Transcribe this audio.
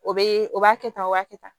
O be o b'a kɛ tan o b'a kɛ tan